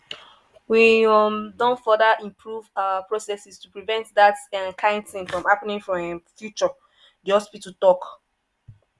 "we um don further improve our processes to prevent dat kain tin from happening for um future" di hospital tok.